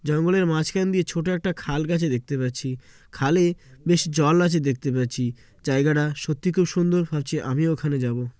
জঙ্গলের মাঝখান দিয়ে ছোট একটা খাল গেছে দেখতে পাচ্ছি খালে বেশ জল আছে দেখতে পাচ্ছি জায়গাটা সত্যি খুব সুন্দর ভাবছি আমিও ওখানে যাবো।